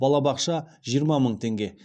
балабақша жиырма мың теңге